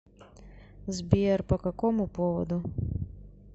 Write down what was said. сбер по какому поводу